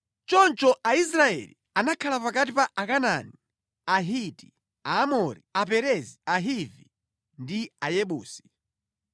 Choncho Aisraeli anakhala pakati pa Akanaani, Ahiti, Aamori, Aperezi, Ahivi ndi Ayebusi.